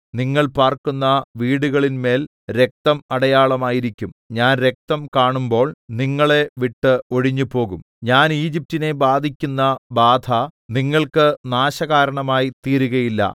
നിങ്ങൾ പാർക്കുന്ന വീടുകളിന്മേൽ രക്തം അടയാളമായിരിക്കും ഞാൻ രക്തം കാണുമ്പോൾ നിങ്ങളെ വിട്ട് ഒഴിഞ്ഞ് പോകും ഞാൻ ഈജിപ്റ്റിനെ ബാധിക്കുന്ന ബാധ നിങ്ങൾക്ക് നാശകാരണമായി തീരുകയില്ല